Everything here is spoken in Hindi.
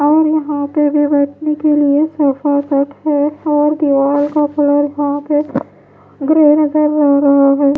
और यहां पे भी बैठने के लिए सोफ़ा सेट है और दीवार का फ्लोर यहां पे रहा है।